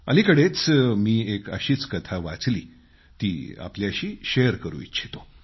अलिकडेच मी एक अशीच कथा वाचली ती आपल्याशी शेअर करू इच्छितो